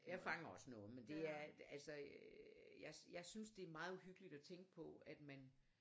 Jeg fanger også noget men det er altså øh jeg synes det er meget uhyggeligt at tænke på at man